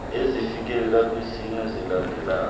ezifikelela kwisine zilandelelana